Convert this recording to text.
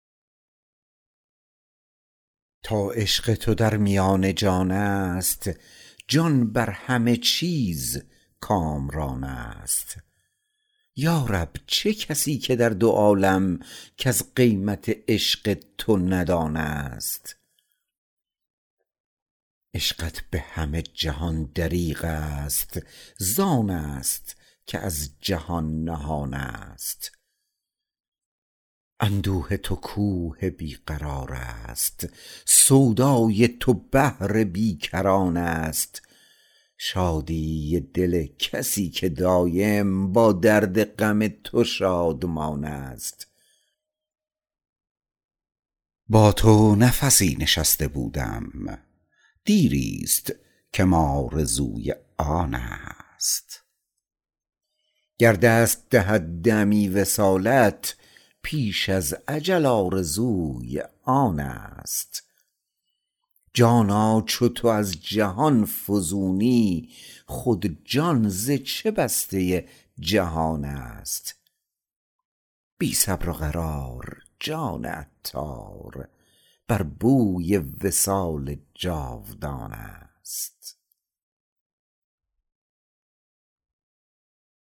تا عشق تودر میان جان است جان بر همه چیز کامران است یارب چه کسی که در دو عالم کس قیمت عشق تو ندان است عشقت به همه جهان دریغ است زان است که از جهان نهان است اندوه تو کوه بی قرار است سودای تو بحر بی کران است شادی دل کسی که دایم با درد غم تو شادمان است با تو نفسی نشسته بودم دیری است کم آرزوی آن است گر دست دهد دمی وصالت پیش از اجل آرزوی آن است جانا چو تو از جهان فزونی خود جان ز چه بسته جهان است بی صبر و قرار جان عطار بر بوی وصال جاودان است